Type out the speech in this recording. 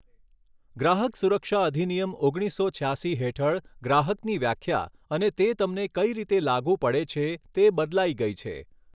ગ્રાહક સુરક્ષા અધિનિયમ ઓગણીસો છ્યાસી હેઠળ ગ્રાહકની વ્યાખ્યા અને તે તમને કઈ રીતે લાગુ પડે છે તે બદલાઈ ગઈ છે.